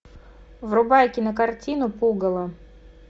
врубай кинокартину пугало